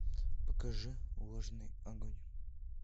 покажи влажный огонь